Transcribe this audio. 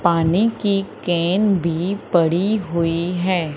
पानी की कैन भी पड़ी हुई है।